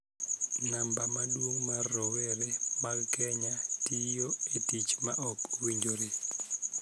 Namba maduong� mar rowere mag Kenya tiyo e tich ma ok owinjore.